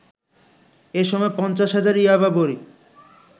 এসময় ৫০ হাজার ইয়াবা বড়ি